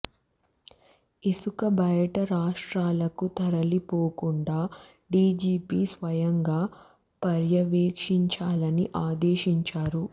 ఇసుక బయట రాష్ట్రాలకు తరలి పోకుండా డిజిపి స్వయంగా పర్యవేక్షించాలని ఆదేశించారు